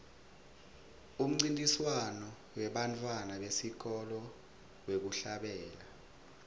umncintiswano webantfwana besikolwa wekuhlabela